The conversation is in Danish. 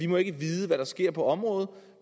må vide hvad der sker på området